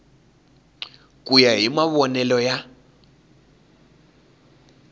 ku ya hi mavonele ya